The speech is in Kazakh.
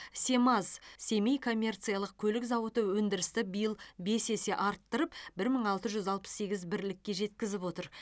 семаз семей коммерциялық көлік зауыты өндірісті биыл бес есе арттырып бір мың алты жүз алпыс сегіз бірлікке жеткізіп отыр